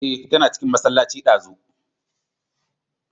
Eh, tana cikin masallacin ɗazu